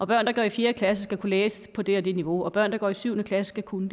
børn der går i fjerde klasse skal kunne læse på det og det niveau og at børn der går i syvende klasse skal kunne